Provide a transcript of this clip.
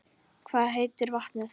Hvað heitir vatnið?